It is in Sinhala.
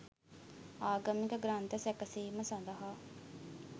ආගමික ග්‍රන්ථ සැකසීම සඳහා